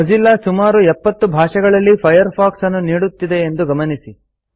Mozilla ಸುಮಾರು ೭೦ ಭಾಷೆಗಳಲ್ಲಿ Firefox ಅನ್ನು ನೀಡುತ್ತಿದೆ ಎಂದು ಗಮನಿಸಿ